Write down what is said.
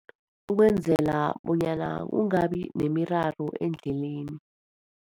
Ukwenzela bonyana kungabi nemiraro endleleni.